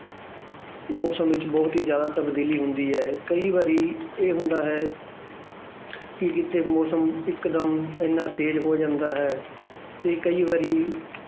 ਮੌਸਮ ਵਿੱਚ ਬਹੁਤ ਹੀ ਜ਼ਿਆਦਾ ਤਬਦੀਲੀ ਹੁੰਦੀ ਹੈ ਕਈ ਵਾਰੀ ਇਹ ਹੁੰਦਾ ਹੈ ਕਿ ਕਿਤੇ ਮੌਸਮ ਇੱਕ ਦਮ ਇੰਨਾ ਤੇਜ਼ ਹੋ ਜਾਂਦਾ ਹੈ ਤੇ ਕਈ ਵਾਰੀ